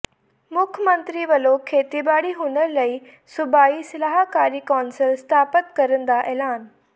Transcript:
ਮੁੱਖ ਮੰਤਰੀ ਵੱਲੋਂ ਖੇਤੀਬਾੜੀ ਹੁਨਰ ਲਈ ਸੂਬਾਈ ਸਲਾਹਕਾਰੀ ਕੌਂਸਲ ਸਥਾਪਤ ਕਰਨ ਦਾ ਐਲਾਨ